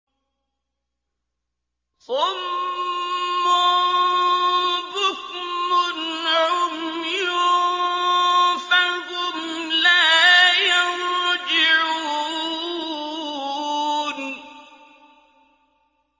صُمٌّ بُكْمٌ عُمْيٌ فَهُمْ لَا يَرْجِعُونَ